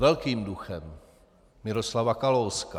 Velkým duchem Miroslava Kalouska.